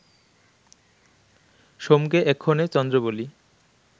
সোমকে এক্ষণে চন্দ্র বলি